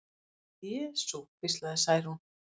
Jesú, hvíslaði Særún.